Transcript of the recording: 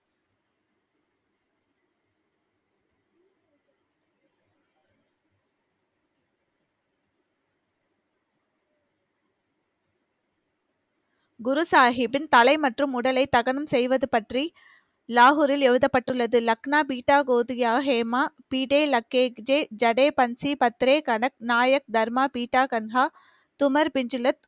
குரு சாகிப்பின் தலை மற்றும் உடலை தகனம் செய்வது பற்றி லாஹூரில் எழுதப்பட்டுள்ளது, லக்னா பீட்டா, கோதியா, ஹேமா, பீட லக்கேஜே, ஜடே பஞ்ச், பத்ரே கடக், நாயர், தர்மா, பீட்டா, கன்ஹா, தும்மர் பிஞ்சுலத்,